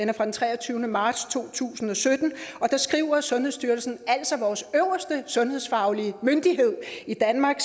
er fra den treogtyvende marts to tusind og sytten deri skriver sundhedsstyrelsen altså vores øverste sundhedsfaglige myndighed i danmark